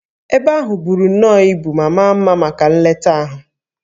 Ebe ahụ buru nnọọ ibu ma maa mma maka nleta ahụ